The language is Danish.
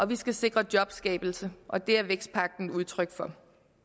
vi skal sikre jobskabelse og det er vækstpagten udtryk for